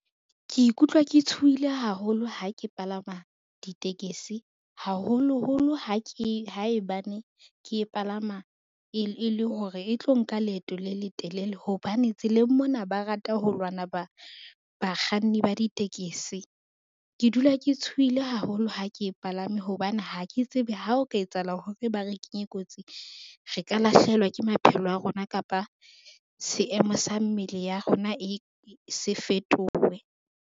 Ke ikutlwa ke tshohile haholo ha ke palama ditekesi, haholoholo haebane ke e palama, e le hore e tlo nka leeto le letelele hobane tseleng mona ba rata ho lwana bakganni ba ditekesi. Ke dula ke tshohile haholo ha ke e palame hobane ha ke tsebe hao ka etsahala hore ba re kenye kotsing, re ka lahlehelwa ke maphelo a rona kapa seemo sa mmele ya rona se fetowe.